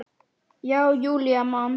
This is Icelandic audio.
Já, Júlía man.